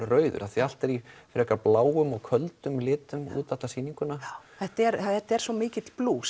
rauður allt er í bláum og köldum litum út alla sýninguna þetta er þetta er svo mikill blús